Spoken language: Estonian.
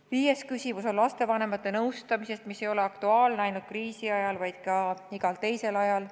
Viies küsimus on lastevanemate nõustamise kohta, mis ei ole aktuaalne ainult kriisi ajal, vaid ka igal muul ajal.